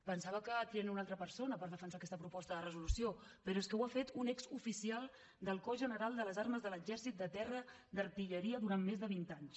pensava que triarien una altra persona per defensar aquesta proposta de resolució però és que ho ha fet un exoficial del cos general de les armes de l’exèrcit de terra d’artilleria durant més de vint anys